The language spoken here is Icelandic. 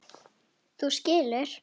Þú skilur.